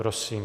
Prosím.